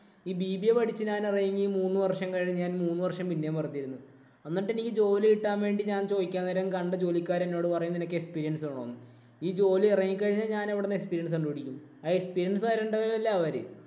ഈ BBA പഠിച്ചിറങ്ങി മൂന്ന് വര്‍ഷം കഴിഞ്ഞു മൂന്ന് വര്‍ഷം ഞാന്‍ പിന്നേം പൊറത്തിരുന്നു. എന്നിട്ട് എനിക്ക് ജോലി കിട്ടാന്‍ വേണ്ടി ഞാന്‍ ചോദിക്കാന്‍ നേരം കണ്ട ജോലിക്കാര് എന്നോട് പറയും നിനക്ക് experience വേണം എന്ന്. ഈ ജോലി എറങ്ങി കഴിഞ്ഞു ഞാന്‍ എവിടുന്നാ experience കണ്ടുപിടിക്കും. ആ experience തരണ്ടത് അല്ലേ അവര്.